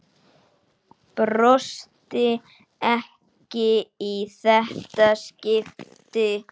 Brosti ekki í þetta skipti.